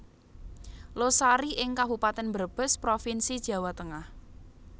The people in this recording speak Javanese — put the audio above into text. Losari ing Kabupaten Brebes Provinsi Jawa Tengah